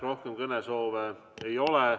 Rohkem kõnesoove ei ole.